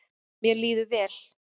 Mér líður vel.